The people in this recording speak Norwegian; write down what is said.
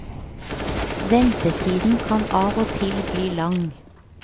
Ventetiden kan av og til bli lang.